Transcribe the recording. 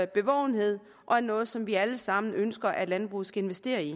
bevågenhed og som er noget som vi alle sammen ønsker at landbruget skal investere i